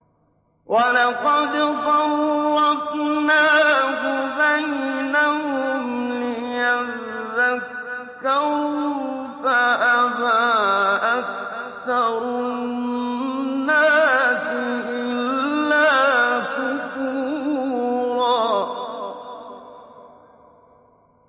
وَلَقَدْ صَرَّفْنَاهُ بَيْنَهُمْ لِيَذَّكَّرُوا فَأَبَىٰ أَكْثَرُ النَّاسِ إِلَّا كُفُورًا